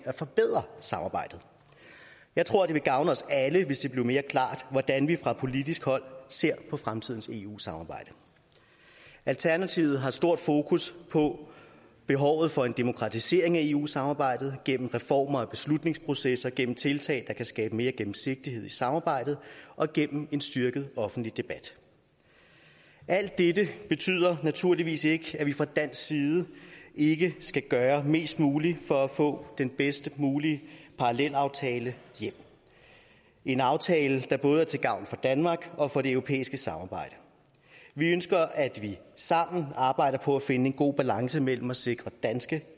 at forbedre samarbejdet jeg tror det ville gavne os alle hvis det blev mere klart hvordan vi fra politisk hold ser på fremtidens eu samarbejde alternativet har stort fokus på behovet for en demokratisering af eu samarbejdet gennem reformer og beslutningsprocesser gennem tiltag der kan skabe mere gennemsigtighed i samarbejdet og gennem en styrket offentlig debat alt dette betyder naturligvis ikke at vi fra dansk side ikke skal gøre mest muligt for at få den bedst mulige parallelaftale hjem en aftale der både er til gavn for danmark og for det europæiske samarbejde vi ønsker at vi sammen arbejder på at finde en god balance mellem at sikre danske